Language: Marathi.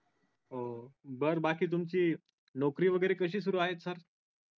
हो बर बाकी तुमची नोकरी वगैरे कशी सुरु आहे sir